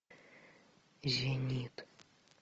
зенит